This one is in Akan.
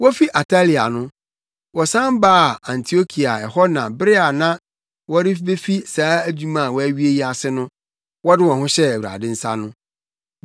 Wofi Atalia no, wɔsan baa Antiokia a ɛhɔ na bere a na wɔrebefi saa adwuma a wɔawie yi ase no, wɔde wɔn hyɛɛ Awurade nsa no.